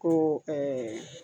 Ko